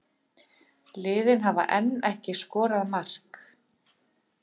Liðin hafa enn ekki skorað mark